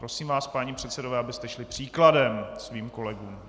Prosím vás, páni předsedové, abyste šli příkladem svým kolegům.